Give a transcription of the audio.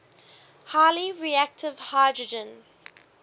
highly reactive hydrogen